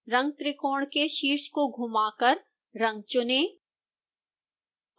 रंगत्रिकोण के शीर्ष को घूमा कर रंग चुनें